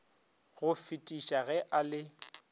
go fetisa ge a le